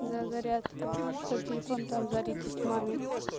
за зарядкой чтоб телефон там зарядить маме